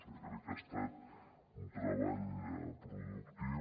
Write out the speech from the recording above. jo crec que ha estat un treball productiu